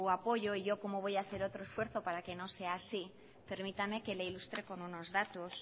apoyo y yo como voy a hacer otro esfuerzo para que no sea así permítame que le ilustre con unos datos